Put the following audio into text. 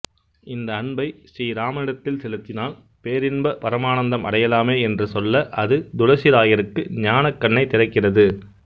இந்த அன்பை ஸ்ரீராமனிடத்தில் செலுத்தினால் பேரின்ப பரமானந்தமடையலாமே என்று சொல்ல அது துளசிராயருக்கு ஞானக்கண்ணைத் திறக்கிறது